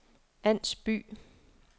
Ans By